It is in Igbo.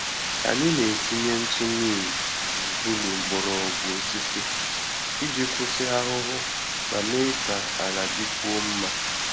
Anyị na-etinye ntụ neem gburugburu mgbọrọgwụ osisi iji kwụsị ahụhụ ma mee ka ala dịkwuo mma.